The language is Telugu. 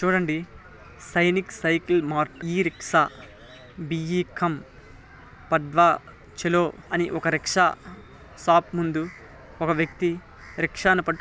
చూడండి సైనిక్ సైకిల్ మారుతి రిక్షా బి ఇ కం పడ్వ ఛలో అనే ఒక రిక్షా షాప్ ముందు ఒక వ్యక్తి రిక్షా నీ పట్టు --